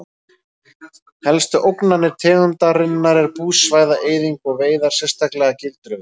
Helstu ógnanir tegundarinnar er búsvæða-eyðing og veiðar sérstaklega gildruveiðar.